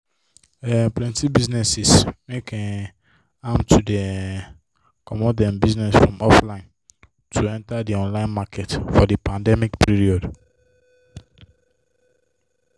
um plenty businesses make um am to dey um comot them business from offline to enter the online market for the pandemic period.